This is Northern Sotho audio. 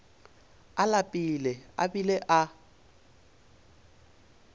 a lapile a bile a